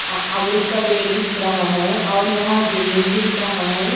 अ अमरूद का पेड़ भी दिख रहा है और यहां बिल्डिंग भी दिख रहा हैं।